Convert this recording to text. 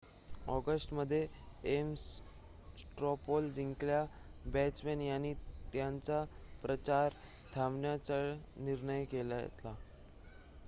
ऑगस्टमध्ये Ames straw poll जिंकलेल्या Bachmann यांनी त्यांचा प्रचार थांबवण्याचा निर्णय घेतला